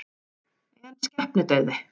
En skepnudauði?